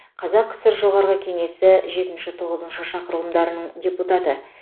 қазақ кср жоғарғы кеңесі жетінші тоғызыншы шақырылымдарының депутаты